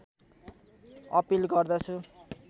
appeal गर्दछु